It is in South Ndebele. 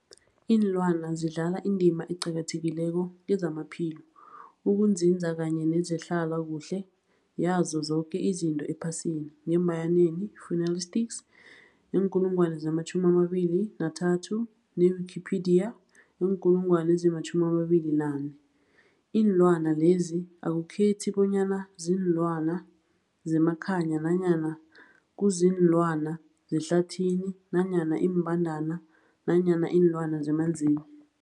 Iinlwana zidlala indima eqakathekileko kezamaphilo, ukunzinza kanye nezehlalakuhle yazo zoke izinto ephasini, Fuanalytics weenkulungwana zama-23, ne-Wikipedia weenkulungwana ezima-24. Iinlwana lezi akukhethi bonyana ziinlwana zemakhaya nanyana kuziinlwana zehlathini nanyana iimbandana nanyana iinlwana zemanzini.